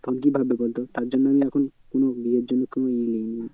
তখন কি ভাববে বলতো তার জন্য আমি এখন কোনো বিয়ের জন্য কোনো এ নিইনি।